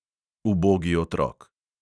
Ubogi otrok.